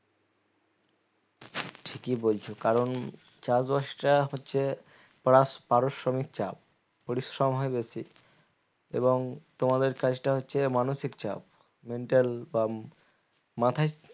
ঠিকই বলছ কারণ চাষবাস টা হচ্ছে প্রাস পারিশ্রমিক চাপ পরিশ্রম হয় বেশি এবং তোমাদের কাজটা হচ্ছে মানসিক চাপ mental বা মাথায়